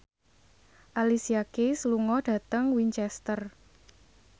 Alicia Keys lunga dhateng Winchester